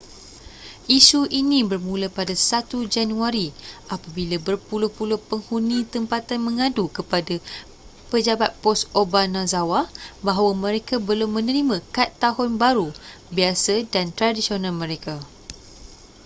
isu ini bermula pada 1 januari apabila berpuluh-puluh penghuni tempatan mengadu kepada pejabat pos obanazawa bahawa mereka belum menerima kad tahun baru biasa dan tradisional mereka